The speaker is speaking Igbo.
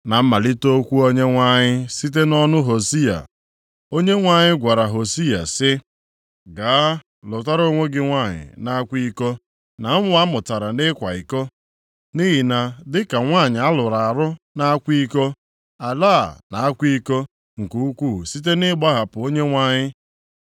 Na mmalite okwu Onyenwe anyị site nʼọnụ Hosiya, Onyenwe anyị gwara Hosiya sị, “Gaa lụtara onwe gị nwanyị na-akwa iko na ụmụ amụtara nʼịkwa iko, nʼihi na dịka nwanyị alụrụ alụ nʼakwa iko, ala a na-akwa iko nke ukwu site nʼịgbahapụ Onyenwe anyị.”